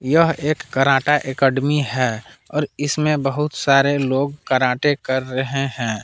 यह एक karate academy है और इसमें बहुत सारे लोग कराटे कर रहे हैं।